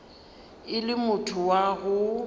e le motho wa go